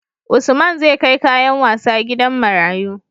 Usman zAi kai kayan wasa gidan marayu